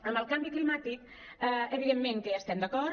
amb el canvi climàtic evidentment que hi estem d’acord